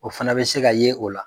O fana bɛ se ka ye o la